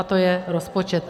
A to je rozpočet.